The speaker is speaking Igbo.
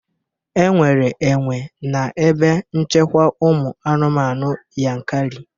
Enwere enwe na ebe nchekwa ụmụ anụmanụ Yankari